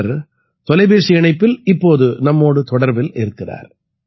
அவர் தொலைபேசி இணைப்பில் இப்போது நம்மோடு தொடர்பில் இருக்கிறார்